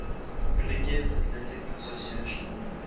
collegiate athletic association